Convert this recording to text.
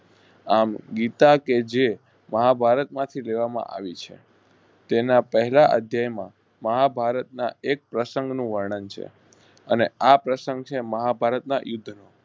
આમ ગીતાકે જે મહાભારત માંથી લેવા માં આવ્યું છે. તેના પહેલા તેના પહેલા અધ્યેય માં મહાભારત ના એક પરસન ગણું વર્ણન છે. અને આપર્સગ છે મહાભાર ના યુદ્ધનો